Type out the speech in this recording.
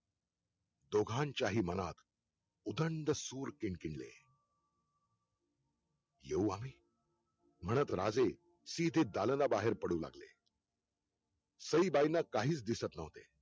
दोघांच्याही मनात उदंड सूर किन किनले येऊ आम्ही म्हणत राजे सिदे दालना बाहेर पडू लागले सईबाईंना काहीच दिसत नव्हते